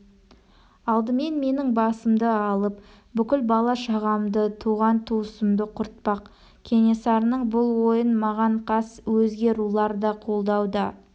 алдымен менің басымды алып бүкіл бала-шағамды туған-туысқанымды құртпақ кенесарының бұл ойын маған қас өзге рулар да қолдауда